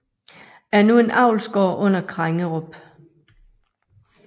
Er nu en avlsgård under Krengerup